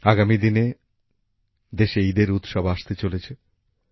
আগামী দিনে দেশে ঈদের উৎসব আসতে চলেছে